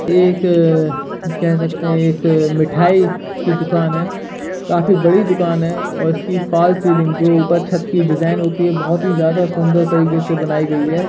एक अ कह सकते है एक अ मिठाई की दुकान है काफी बड़ी दुकान है और उसकी फाल्स सीलिंग जो ऊपर छत की डिजाइन होती है बोहोत ही सुंदर तरीके से बनाई गई है।